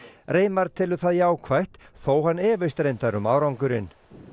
reimar telur það jákvætt þótt hann efist reyndar um árangurinn